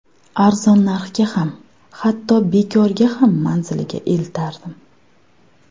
Arzon narxga ham, hatto bekorga ham manziliga eltardim.